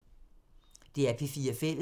DR P4 Fælles